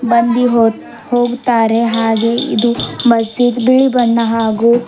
ಬಂದಿ ಹೊತ್ ಹೋಗ್ತಾರೆ ಹಾಗೆ ಇದು ಮಜೀದ್ ಬಿಳಿ ಬಣ್ಣ ಹಾಗೂ----